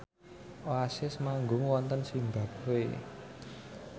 Oasis manggung wonten zimbabwe